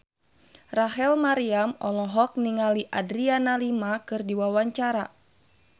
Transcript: Rachel Maryam olohok ningali Adriana Lima keur diwawancara